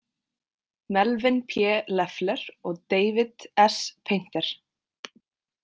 Melvyn P Leffler og David S Painter.